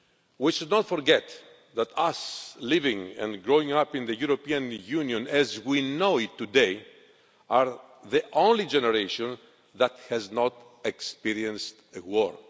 We should not forget that we, living and growing up in the European Union as we know it today, are the only generation that has not experienced a war.